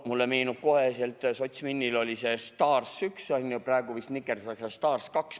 Mulle meenub kohe, sotsminil oli see STAR 1, praegu vist nikerdatakse STAR 2.